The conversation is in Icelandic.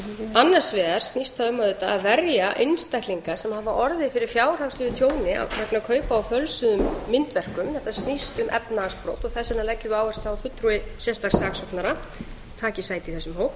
annars vegar snýst það um auðvitað að verja einstaklinga sem hafa orðið fyrir fjárhagslegu tjóni vegna kaupa á fölsuðum myndverkum þetta snýst um efnahagsbrot og þess vegna leggjum við áherslu á að fulltrúi sérstaks saksóknara taki sæti í þessum hóp